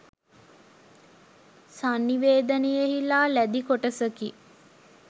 සංනිවේදනයෙහිලා ලැදි කොටසකි.